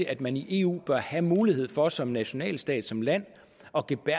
at man i eu bør have mulighed for som nationalstat som land